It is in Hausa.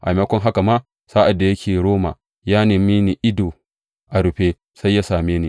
A maimakon haka ma, sa’ad da yake a Roma, ya neme ni ido a rufe sai da ya same ni.